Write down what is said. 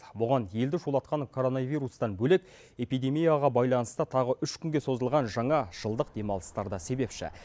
бұған елді шулатқан коронавирустан бөлек эпидемияға байланысты тағы үш күнге созылған жаңа жылдық демалыстар да себепші